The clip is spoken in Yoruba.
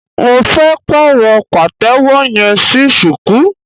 Mo fẹ́ pàrọ̀ pàtẹ́wọ́ yẹn sí shuku.